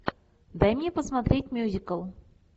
дай мне посмотреть мюзикл